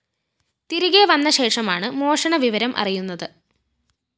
തിരികെ വന്ന ശേഷമാണ് മോഷണ വിവരം അറിയുന്നത്